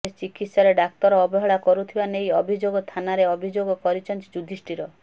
ହେଲେ ଚିକିତ୍ସାରେ ଡାକ୍ତର ଅବହେଳା କରୁଥିବା ନେଇ ଅଭିଯୋଗ ଥାନାରେ ଅଭିଯୋଗ କରିଛନ୍ତି ଯୁଧିଷ୍ଠିର